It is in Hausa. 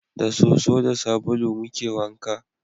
Da soso da sabulu muke wanka